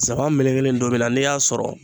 nsaban melekelen ntomi na n'i y'a sɔrɔ